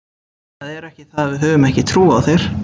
Það er ekki það að við höfum ekki trú á þér.